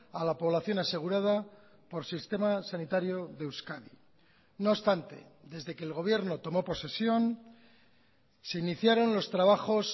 a la población asegurada por sistema sanitario de euskadi no obstante desde que el gobierno tomó posesión se iniciaron los trabajos